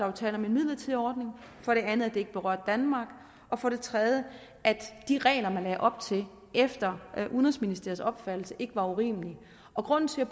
er tale om en midlertidig ordning for det andet at det ikke berørte danmark og for det tredje at de regler man lagde op til efter udenrigsministeriets opfattelse ikke var urimelige og grunden til at